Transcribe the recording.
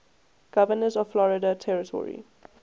governors of florida territory